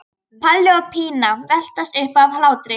Palli og Pína veltast um af hlátri.